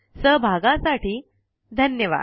सहभागासाठी धन्यवाद